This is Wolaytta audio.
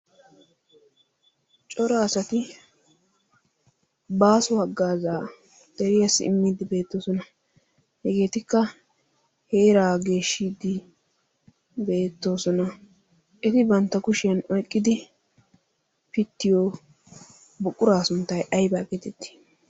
cora asati baasu aggaazaa deriyaasi immiiddi beettoosona hegeetikka heeraa geeshshiiddi beettoosona eti bantta kushiyan oyqqidi pittiyo buqquraa sunttai aibaa getettii